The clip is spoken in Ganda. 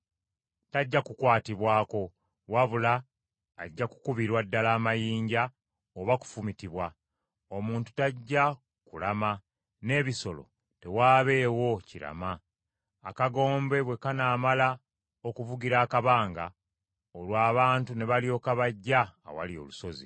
Tajja kukwatibwako, wabula ajja kukubirwa ddala amayinja oba kufumitibwa. Omuntu tajja kulama, n’ebisolo tewaabeewo kirama.’ Akagombe bwe kanaamala okuvugira akabanga, olwo abantu ne balyoka bajja awali olusozi. ”